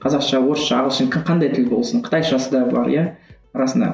қазақша орысша ағылшын қандай тіл болсын қытайшасы да бар иә арасында